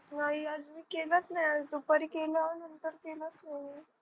नाही आज मी केलाच नाही आज दुपारी केला होता तेव्हाच बोलली